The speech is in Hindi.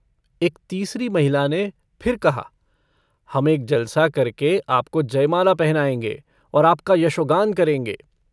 एक तीसरी महिला ने फिर कहा - हम एक जलसा करके आपको जयमाल पहनायेंगे और आपका यशोगान करेंगे।